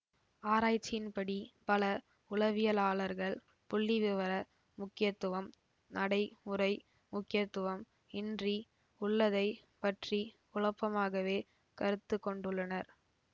ஆராய்ச்சியின்படி பல உளவியலாளர்கள் புள்ளிவிவர முக்கியத்துவம் நடை முறை முக்கியத்துவம் இன்றி உள்ளதை பற்றி குழப்பமாகவே கருத்துக்கொண்டுள்ளனர்